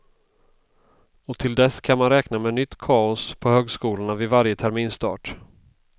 Och till dess kan man räkna med nytt kaos på högskolorna vid varje terminsstart.